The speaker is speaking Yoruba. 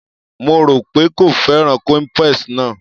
Mo rò pé kò fẹ́ràn cowpeas náà.